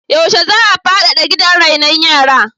Yaushe za a faɗaɗa gidan rainon yara?